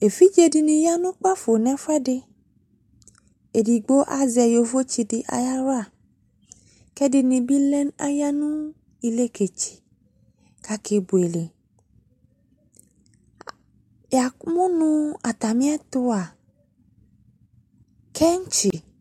Evidze de ne ya no kpafo no efuɛdeEdigbo azɛ yovotse de ayela ko ɛdene be lɛ ,aya no elɛkɛtseko ake bueleA, yamo no atame etoa kentsi